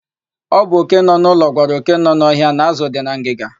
Ọ bụ òké nọ n'ụlọ gwara òké nọ n'ọhịa na ázụ̀ dị na ngịga.